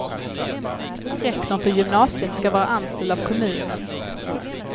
Rektorn för gymnasiet ska vara anställd av kommunen.